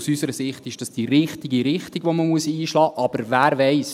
aus unserer Sicht ist es die richtige Richtung, die man einschlagen muss, aber wer weiss: